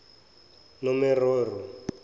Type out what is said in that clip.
nomeroro